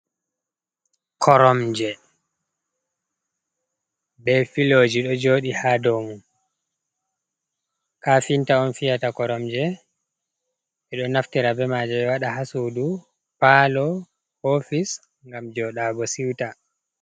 Koromje be filoji do joɗi ha domum, Kafinta on fiyata koromje, Ɓe ɗo naftira bema je ɓe wada ha sudu, palo, ofise, gam jodago siwta.